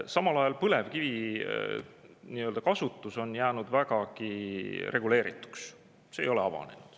Samal ajal on põlevkivi kasutus jäänud vägagi reguleerituks, see ei ole avanenud.